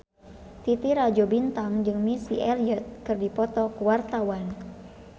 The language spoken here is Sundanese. Titi Rajo Bintang jeung Missy Elliott keur dipoto ku wartawan